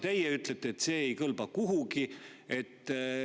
Teie ütlete, et see ei kõlba kuhugi.